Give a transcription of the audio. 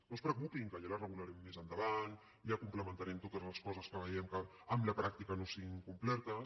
no es preocupin que ja la regularem més endavant ja complementarem totes les coses que vegem que amb la pràctica no siguin complertes